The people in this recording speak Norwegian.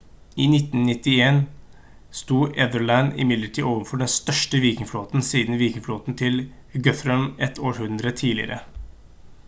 i 991 stod ethelred imidlertid overfor den største vikingflåten siden vikingflåten til guthrum et århundre tidligere